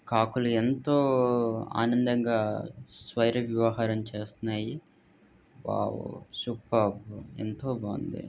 కాకులు ఎంతో ఆనందంగా స్వైరింగ్ విహారం చేస్తున్నాయి వావ్ సూపర్ ఎంతో బాగుంది.